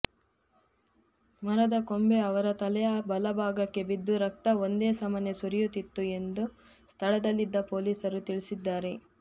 ಮರದ ಕೊಂಬೆ ಅವರ ತಲೆಯ ಬಲಭಾಗಕ್ಕೆ ಬಿದ್ದು ರಕ್ತ ಒಂದೇ ಸಮನೆ ಸುರಿಯುತ್ತಿತ್ತು ಎಂದು ಸ್ಥಳದಲ್ಲಿದ್ದ ಪೊಲೀಸರು ತಿಳಿಸಿದ್ದಾರೆ